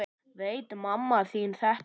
Veit mamma þín þetta?